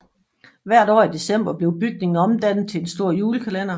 Hvert år i december blev bygningen omdannet til en stor julekalender